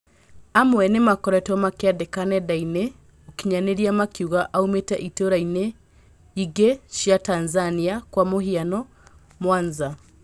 Amwe nĩmakoretwo makĩandĩka nendainĩ cĩa ũkinyanĩria makiuga aumĩte itaroinĩ ingĩ cia Tanzania kwa mũhiano, Mwanza.